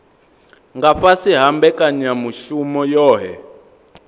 nga fhasi ha mbekanyamushumo yohe